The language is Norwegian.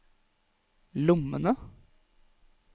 lommene